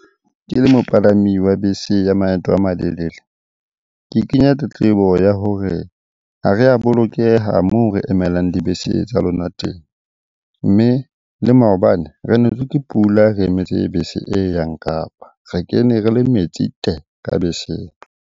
Ke le mopalami wa bese ya maeto a malelele. Ke kenya tletlebo ya hore ha re a bolokeha moo re emelang dibese tsa lona teng. Mme le maobane re netswe ke pula re emetse bese e yang Kapa. Re kene re le metsi te! Ka beseng.